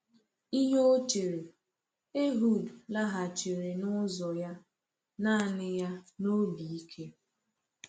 Ihe ọ chere, Ehud laghachiri n’ụzọ ya naanị ya n’obi ike.